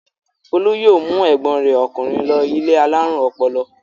Folú yóò mú ẹ̀gbọ́n rẹ̀ ọkùnrin lọ ilé alárùn ọpọlọ.